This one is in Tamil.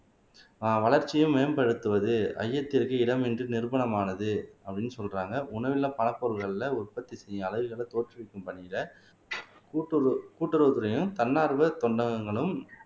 ஆஹ் வளர்ச்சியை மேம்படுத்துவது ஐயத்திற்கு இடமின்றி நிரூபணமானது அப்படின்னு சொல்றாங்க உணவில்ல பல பொருள்கள்ல உற்பத்தி செய்யும் அலகுகளை தோற்றுவிக்கும் பணியில கூட்டுற கூட்டுறவுத்துறையும் தன்னார்வ தொண்டங்கங்களும்